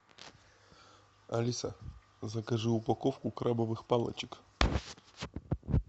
алиса закажи упаковку крабовых палочек